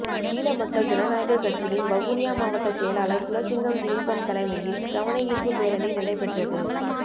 ஈழமக்கள் ஜனநாயகக் கட்சியின் வவுனியா மாவட்ட செயலாளர் குலசிங்கம் திலீபன் தலைமையில் கவனயீர்ப்பு பேரணி நடைபெற்றது